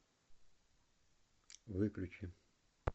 выключи